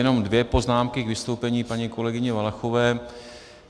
Jenom dvě poznámky k vystoupení paní kolegyně Valachové.